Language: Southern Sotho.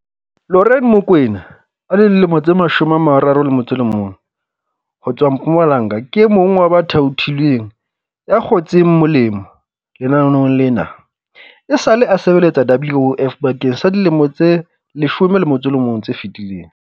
Lorraine Mokoena, 31, ho tswa Mpumalanga ke e mong wa ba thaothilweng ya kgotseng mo lemo lenaneong lena. Esale a sebeletsa WOF bakeng sa dilemo tse 11 tse fetileng.